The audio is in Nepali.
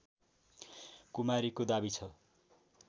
कुमारीको दाबी छ